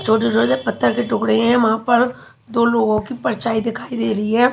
छोटे छोटे पथर के टुकड़े है वहाँ पर दो लोगो की परछाई दिखाई दे रही है।